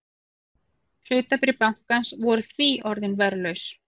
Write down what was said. Hlutabréf bankans voru því orðin verðlaus